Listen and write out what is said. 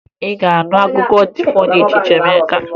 Ị ga-anụ akụkọ ifo dị iche iche ma ị gaa n'obodo dị iche iche na Naịjirịa